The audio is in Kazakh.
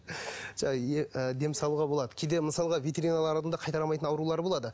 ы дем салуға болады кейде мысалға ветеринарлардың да қайтара алмайтын аурулары болады